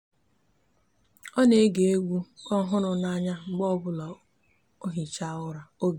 o n'ege egwu ohuru n'anya mgbe obula o n'ehicha obi